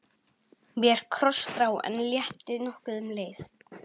Mér krossbrá, en létti nokkuð um leið.